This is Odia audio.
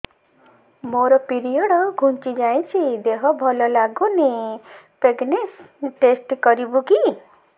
ମୋ ପିରିଅଡ଼ ଘୁଞ୍ଚି ଯାଇଛି ଦେହ ଭଲ ଲାଗୁନି ପ୍ରେଗ୍ନନ୍ସି ଟେଷ୍ଟ କରିବୁ କି